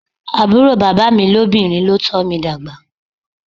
Àbúrò bàbá mi lóbìnrin ló tọ́ mi dàgbà.